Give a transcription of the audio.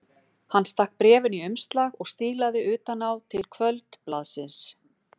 Hann stakk bréfinu í umslag og stílaði utan á til Kvöldblaðsins.